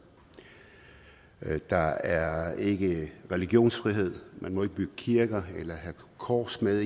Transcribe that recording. der er ikke religionsfrihed man må ikke bygge kirker eller have kors med